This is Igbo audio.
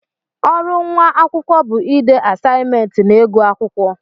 Ọrụ nwa akwụkwọ bụ ịde asaimentị na ịgụ akwụkwọ.